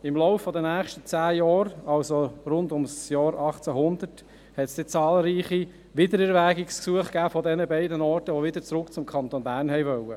Im Lauf der nächsten zehn Jahre, also rund um das Jahr 1800, gab es von diesen beiden Orten, die wieder zurück zum Kanton Bern wollten, zahlreiche Wiedererwägungsgesuche.